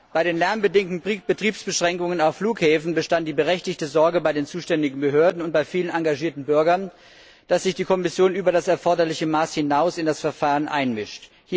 Bei den lärmbedingten Betriebsbeschränkungen auf Flughäfen bestand die berechtigte Sorge bei den zuständigen Behörden und bei vielen engagierten Bürgern, dass sich die Kommission über das erforderliche Maß hinaus in das Verfahren einmischt.